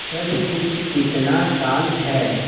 सब कुछ कितना शान्त है